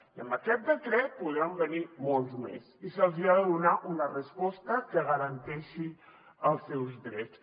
i amb aquest decret en podran venir molts més i se’ls hi ha de donar una resposta que garanteixi els seus drets